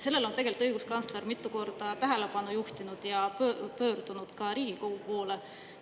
Sellele on tegelikult õiguskantsler mitu korda tähelepanu juhtinud ja pöördunud ka Riigikogu poole.